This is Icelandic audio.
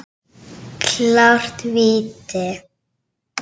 Klárt víti!